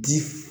Di